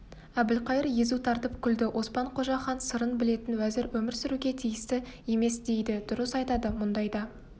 әбілқайыр езу тартып күлді оспан-қожа хан сырын білетін уәзір өмір сүруге тиісті емесдейді дұрыс айтады мұндайда